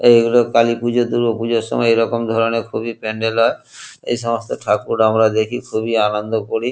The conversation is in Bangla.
এইগুলো কালীপুজো দুর্গাপুজোর সময় এরকম ধরণের খুবই প্যান্ডেল এসমস্ত ঠাকুর আমরা দেখি খুবই আনন্দ করি।